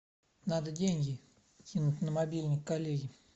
надо деньги кинуть на мобильник коллеге